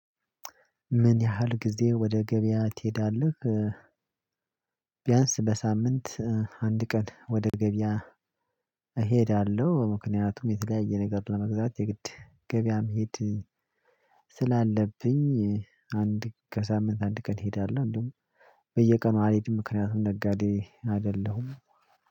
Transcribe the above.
ምን ያህል ጊዜ ወደ ገበያ ትሄዳለህ? ቢያንስ በሳምንት አንድ ቀን ወደ ገበያ። እሄዳለሁ ምክንያቱም የተለያየ ነገር ለመግዛት የግድ ገበያ መሄድ ስላለብኝ። አንድ ከሳምንት አንድ ቀን እሄዳለሁ እንዲሁም በየቀኑ አልሄድም። ምክንያቱም ነጋዴ አይደለሁም።